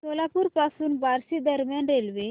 सोलापूर पासून बार्शी दरम्यान रेल्वे